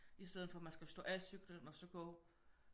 I stedet for at man skal stå af cyklen og så gå